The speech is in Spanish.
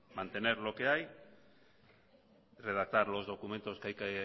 mantener lo que hay redactar los documentos que hay que